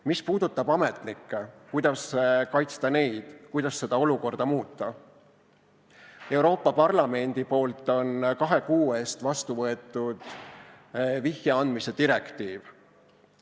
Mis puudutab ametnikke, kuidas kaitsta neid, kuidas seda olukorda muuta, siis Euroopa Parlament on kahe kuu eest vastu võtnud vihje andmise direktiivi.